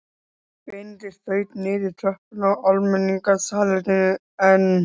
Benedikt þaut niður tröppurnar á almenningssalerninu en